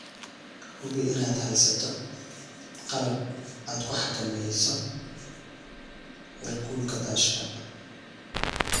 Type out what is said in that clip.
Hubi inaad haysato qalab aad ku xakamayso heerkulka daashka.